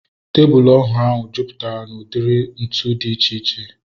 Tebụl ọrụ ahu jupụtara na udiri ntụ dị iche iche